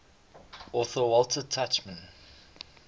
author walter tuchman